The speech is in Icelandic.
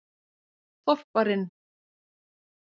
þorparinn